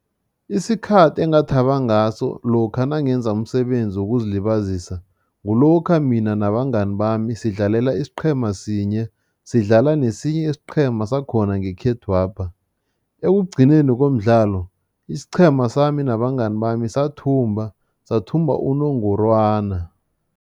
Isikhathi engathaba ngaso lokha nangenza umsebenzi wokuzilibazisa, kulokha mina nabangani bami sidlalela isiqhema sinye, sidlala nesinye isiqhema sakhona ngekhethwapha. Ekugcineni komdlalo, isiqhema sami nabangani bami sathumba, sathumba unongorwana.